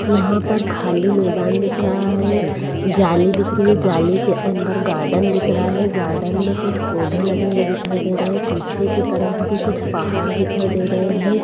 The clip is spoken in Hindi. यहां पर खाली मैदान दिख रहा है जाली दिख रही है जाली के अंदर गार्डन दिख रहा है गार्डन में कुछ पौधे लगे हुए दिखाई दे रहे हैं पीछे की तरफ भी कुछ पहाड़ दिखाई दे रहे हैं।